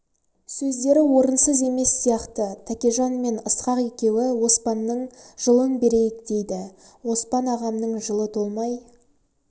сөздері орынсыз емес сияқты тәкежан мен ысқақ екеуі оспанның жылын берейік дейді оспан ағамның жылы толмай